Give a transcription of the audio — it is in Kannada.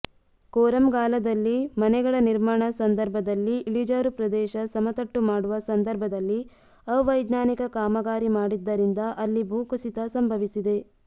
ಕೋರಂಗಾಲದಲ್ಲಿಮನೆಗಳ ನಿರ್ಮಾಣ ಸಂದರ್ಭದಲ್ಲಿಇಳಿಜಾರು ಪ್ರದೇಶ ಸಮತಟ್ಟು ಮಾಡುವ ಸಂದರ್ಭದಲ್ಲಿಅವೈಜ್ಞಾನಿಕ ಕಾಮಗಾರಿ ಮಾಡಿದ್ದರಿಂದ ಅಲ್ಲಿಭೂಕುಸಿತ ಸಂಭವಿಸಿದೆ